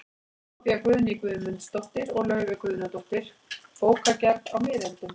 Soffía Guðný Guðmundsdóttir og Laufey Guðnadóttir, Bókagerð á miðöldum